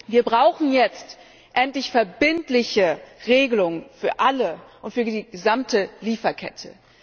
Wir brauchen jetzt endlich verbindliche Regelungen für alle und für die gesamte Lieferkette.